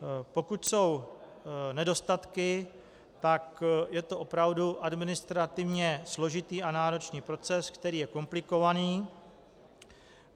Pokud jsou nedostatky, tak je to opravdu administrativně složitý a náročný proces, který je komplikovaný.